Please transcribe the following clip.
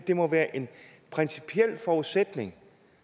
det må være en principiel forudsætning